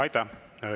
Aitäh!